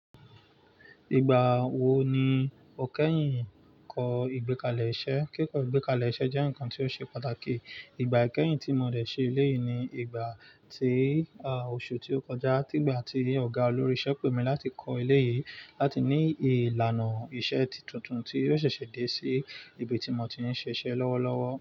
Ìgbà wo ni o kẹ́yìn kọ́ ìgbékalẹ̀ iṣẹ́? Kíkọ ìgbékalẹ̀ iṣẹ́ jẹ́ ǹkan tí ó ṣe pàtàkì. Ìgbà i kẹ́yìn tí mo dẹ̀ ṣe eléyìí ni ìgbà tí, à, oṣù tí ó kọjá. Tígba tí ọ̀gá olórí iṣẹ́ pé mi láti kọ́ eléyìí láti ní ìlànà iṣẹ́ tuntun tí yóò ṣẹ̀ṣẹ̀ dé sí ibi tí mo ti ń ṣe iṣẹ́ lọ́wọ́lọ́wọ́